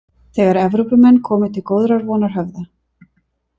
Þegar Evrópumenn komu til Góðrarvonarhöfða.